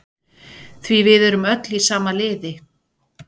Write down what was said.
Því við erum öll í sama liði.